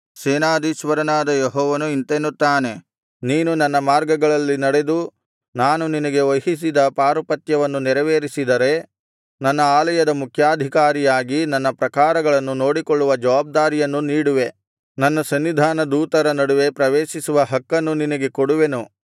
ಸೇನಾಧೀಶ್ವರನಾದ ಯೆಹೋವನು ಇಂತೆನ್ನುತ್ತಾನೆ ನೀನು ನನ್ನ ಮಾರ್ಗಗಳಲ್ಲಿ ನಡೆದು ನಾನು ನಿನಗೆ ವಹಿಸಿದ ಪಾರುಪತ್ಯವನ್ನು ನೆರವೇರಿಸಿದರೆ ನನ್ನ ಆಲಯದ ಮುಖ್ಯಾಧಿಕಾರಿಯಾಗಿ ನನ್ನ ಪ್ರಾಕಾರಗಳನ್ನು ನೋಡಿಕೊಳ್ಳುವ ಜವಾಬ್ದಾರಿಯನ್ನು ನೀಡುವೆ ನನ್ನ ಸನ್ನಿಧಾನದೂತರ ನಡುವೆ ಪ್ರವೇಶಿಸುವ ಹಕ್ಕನ್ನು ನಿನಗೆ ಕೊಡುವೆನು